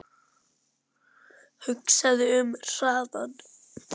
Hugsaðu um hraðann